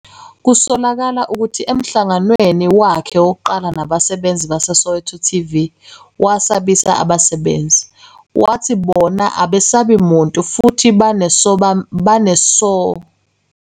Kusolakala ukuthi emhlanganweni wakhe wokuqala nabasebenzi baseSoweto TV wasabisa abasebenzi, wathi bona abesabi muntu futhi banesabelomali seCCMA nanoma yiziphi izinyathelo zenkantolo ezithathiwe ngabo.